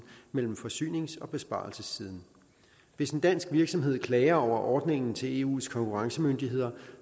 mellem forsynings og besparelsessiden hvis en dansk virksomhed klager over ordningen til eus konkurrencemyndigheder